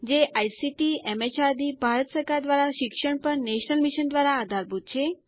જે આઇસીટીએમએચઆરડીભારત સરકાર દ્વારા શિક્ષણ પર નેશનલ મિશન દ્વારા આધારભૂત છે